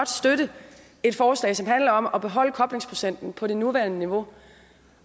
støtte et forslag som handler om at beholde koblingsprocenten på det nuværende niveau